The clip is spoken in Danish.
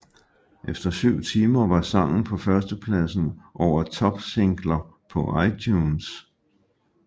Efter syv timer var sangen på førstepladsen over topsingler på iTunes